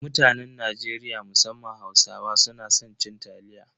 Mutanen Najeriya musamman Hausawa suna san cin taliya.